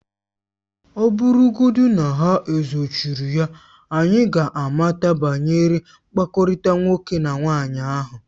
Ọ bụrụgodị na ha ezochiri ya, anyị ka ga-amata banyere mkpakọrịta nwoke na nwaanyị ahụ